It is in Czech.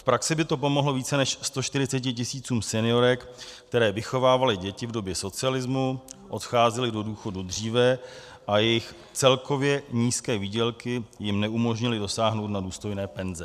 V praxi by to pomohlo více než 140 tisícům seniorek, které vychovávaly děti v době socialismu, odcházely do důchodu dříve a jejich celkově nízké výdělky jim neumožnily dosáhnout na důstojné penze.